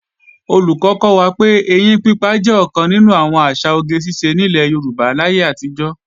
Olùkọ́ kọ́ wa pé, ẹyín pípa jẹ́ ọ̀kan nínú àwọn àṣà oge ṣíṣe nílẹ̀ Yorùbá láyé àtijọ́